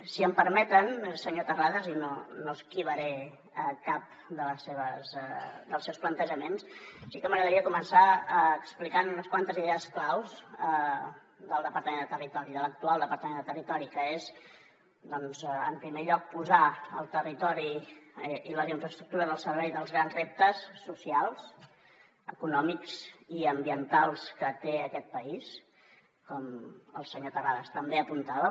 si em permeten senyor terrades i no esquivaré cap dels seus plantejaments sí que m’agradaria començar explicant unes quantes idees claus del departament de territori de l’actual departament de territori que és doncs en primer lloc posar el territori i les infraestructures al servei dels grans reptes socials econòmics i ambientals que té aquest país com el senyor terrades també apuntava